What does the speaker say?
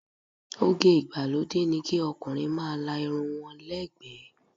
Oge ìgbàlódé ni kí ọkùnrin máa la irun wọn lẹ́ ẹ̀gbẹ́.